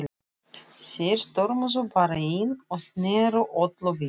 Þeir stormuðu bara inn og sneru öllu við.